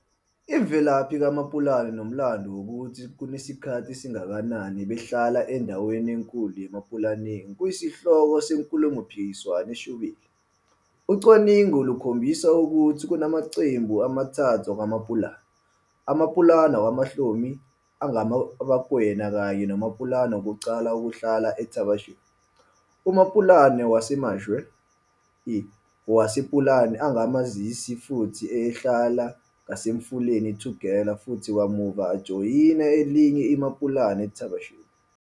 Imvelaphi kaMaPulana nomlando wokuthi sekunesikhathi esingakanani behlala endaweni enkulu yeMapulaneng kuyisihloko senkulumompikiswano eshubile. Ucwaningo lukhombisa ukuthi kunamaqembu amathathu akwaMapulana, aMapulana akwaMohlomi angamaBakwena kanye noMapulana wokuqala ukuhlala eThaba Chueu, uMapulana waseMatshwe I, wasePulane angama-Amazizi futhi ayehlala ngasemfuleni iTugela futhi kamuva ajoyina elinye iMapulana eThaba Chueu.